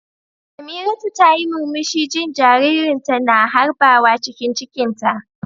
Samiratu tayi murmushi jin jaririnta na harbawa cikin cikinta.